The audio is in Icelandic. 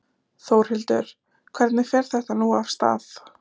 Þórhildur, hvernig fer þetta nú af stað?